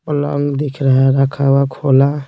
पलंग दिख रहा है रखा हुआ खोला।